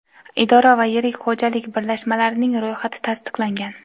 idora va yirik xo‘jalik birlashmalarining ro‘yxati tasdiqlangan.